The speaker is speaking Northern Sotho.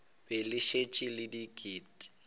be le šetše le diket